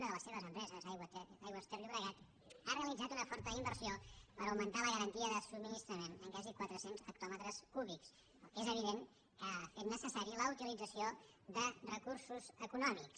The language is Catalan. una de les seves empreses aigües ter llobregat han realitzat una forta inversió per augmentar la garantia de subministrament en quasi quatre cents hectòmetres cúbics que és evident que ha fet necessària la utilització de recursos econòmics